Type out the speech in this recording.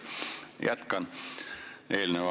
Hea minister!